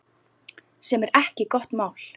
Sem er ekki gott mál.